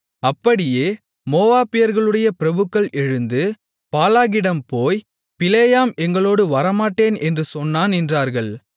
அப்படியே மோவாபியர்களுடைய பிரபுக்கள் எழுந்து பாலாகிடம் போய் பிலேயாம் எங்களோடு வரமாட்டேன் என்று சொன்னான் என்றார்கள்